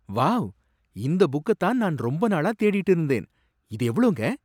Wow! இந்த புக்க தான் நான் ரொம்ப நாளா தேடிட்டு இருந்தேன். இது எவ்ளோங்க?